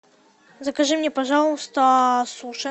закажи мне пожалуйста суши